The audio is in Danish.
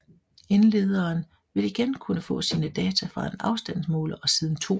Ildlederen vil igen kunne få sine data fra en afstandsmåler og siden 2